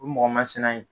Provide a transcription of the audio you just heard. O ye mɔgɔ masina ye